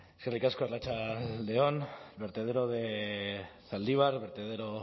eskerrik asko arratsalde on el vertedero de zaldibar del vertedero